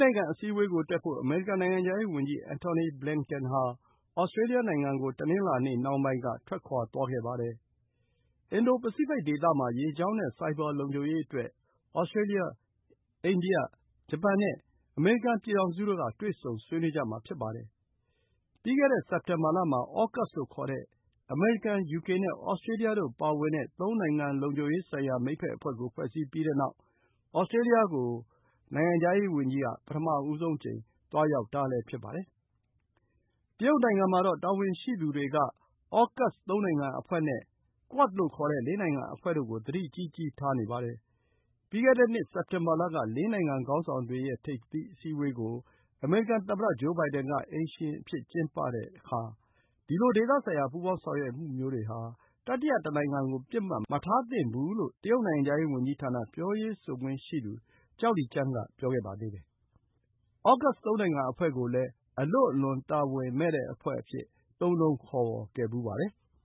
နိုင်ငံအစည်းအဝေးတက်ဖို့ အမေရိကန် နိုင်ငံခြားရေးဝန်ကြီး Antony Blinken ဟာ Australia နိုင်ငံကို တနင်္လာနေ့နှောင်းပိုင်းက ထွက်ခွါသွားပါတယ်။ အင်ဒို ပစိဖိတ်ဒေသမှာ ရေကြောင်းနဲ့ဆိုက်ဘာလုံခြုံရေးအတွက် Australia၊ India၊ Japan နဲ့ အမေရိကန် ပြည်ထောင်စုတို့ တွေ့ဆုံဆွေးနွေးကြမှာ ဖြစ်ပါတယ်။ ပြီးခဲ့တဲ့ စက်တင်ဘာလမှာ AUKUS လို့ ခေါ်တဲ့ အမေရိကန်၊ ယူကေနဲ့ Australia တို့ပါဝင်တဲ့ သုံးနိုင်ငံလုံခြုံရေးဆိုင်ရာ မိတ်ဘက်အဖွဲ့ကို ဖွဲ့စည်းပြီးနောက် Australia ကို ပထမဆုံးအကြိမ် သွားရောက်တာလည်း ဖြစ်ပါတယ်။ တရုတ်နိုင်ငံမှာတော့ တာဝန်ရှိသူတွေက AUKUS ၃ နိုင်ငံအဖွဲ့နဲ့ QUAD ၄ နိုင်ငံ အဖွဲ့တို့ကို သတိကြီးကြီးထားနေပါတယ်။ ပြီးခဲ့တဲ့နှစ် စက်တင်ဘာလက ၄ နိုင်ငံခေါင်းဆောင်တွေရဲ့ ထိပ်သီးအစည်းအဝေးကို အမေရိကန်သမ္မတဂျိုးဘိုင်ဒင်က အိမ်ရှင်အဖြစ် ကျင်းပခဲ့တဲ့အခါ ဒီလို ဒေသဆိုင်ရာပူးပေါင်းဆောင်ရွက်မှုမျိုးတွေဟာ တတိယတနိုင်ငံကို ပစ်မှတ်မထားသင့်ဘူးလို့ တရုတ်နိုင်ငံခြားရေးဝန်ကြီးဌာန ပြောရေးဆိုခွင့်ရှိသူ ကျောက်လီကျန်း က ပြောခဲ့ပါသေးတယ်။ AUKUS ၃ နိုင်ငံအဖွဲ့ကိုလည်း အလွန့်အလွန် တာဝန်မဲ့တဲ့အဖွဲ့အဖြစ် သုံးနှုံးခေါ်ဝေါ်ခဲ့ပါတယ်။